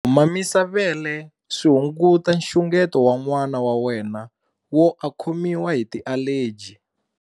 Ku mamisa vele swi hunguta nxungeto wa n'wana wa wena wo a khomiwa hi tialeji.